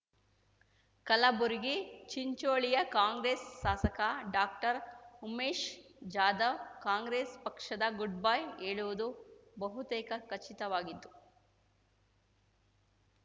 ಕಲಬುರಗಿ ಚಿಂಚೋಳಿಯ ಕಾಂಗ್ರೆಸ್‌ ಶಾಸಕ doctor Umesh Jadhav Congress ಪಕ್ಷದ ಗುಡ್‌ಬೈ ಹೇಳುವುದು ಬಹುತೇಕ ಖಚಿತವಾಗಿತ್ತು